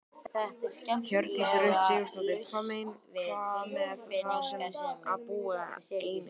Hjördís Rut Sigurjónsdóttir: Hvað með þá sem að búa einir?